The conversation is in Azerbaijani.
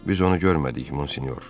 Biz onu görmədik, Monsinyor.